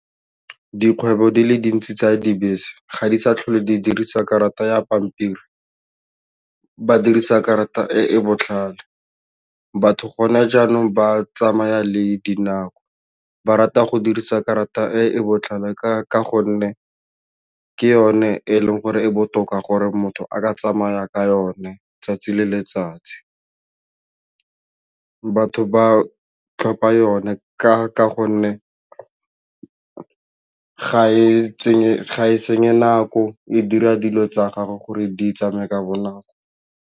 Dikgwebo di le dintsi tsa dibese ga di sa tlhole di dirisa karata ya pampiri ba dirisa karata e e botlhale batho gone jaanong ba tsamaya le dinako, ba rata go dirisa karata e e botlhale ka gonne ke yone e leng gore e botoka gore motho a ka tsamaya ka yone 'tsatsi le letsatsi batho ba tlhopha yone ka gonne ga e senye nako e dira dilo tsa gago gore di tsameye ka bonako.